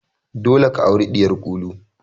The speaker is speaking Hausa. Dole ka aure ɗiyar Kulu!